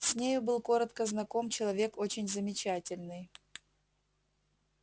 с нею был коротко знаком человек очень замечательный